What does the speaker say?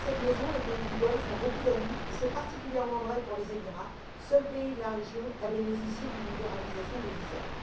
Dans cette maison, les pays du Golfe ont beaucoup d'amis, et c'est particulièrement vrai pour les Émirats, seul pays de la région à bénéficier d'une libéralisation des visas.